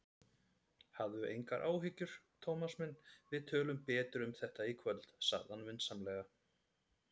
Hafðu engar áhyggjur, Thomas minn, við tölum betur um þetta í kvöld sagði hann vinsamlega.